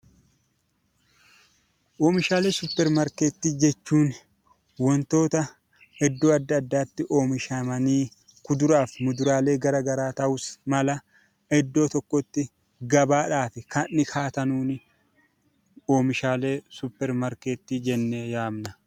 Oomishaalee suuparmaarketii jechuun wantoota iddoo adda addaatti oomishamanii kuduraa fi muduraa gara garaa ta'us mala iddoo tokkotti gabaadhaaf kan kaa'atanuuni oomishaalee suuparmaarketii jennee yaamna.